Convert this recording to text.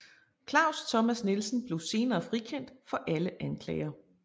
Claus Thomas Nielsen blev senere frikendt for alle anklager